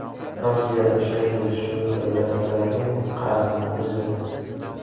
Rossiya o‘sha kelishuv doirasidagi qarzni uzdi.